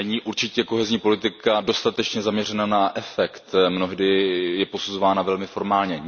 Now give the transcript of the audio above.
Určitě není kohezní politika dostatečně zaměřena na efekt, mnohdy je posuzována velmi formálně.